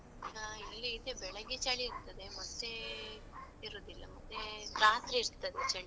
ಹ ಇಲ್ಲಿ ಇದೆ, ಬೆಳಿಗ್ಗೆ ಚಳಿ ಇರ್ತದೆ ಮತ್ತೇ ಇರುದಿಲ್ಲ, ಮತ್ತೇ ರಾತ್ರಿ ಇರ್ತದೆ ಚಳಿ.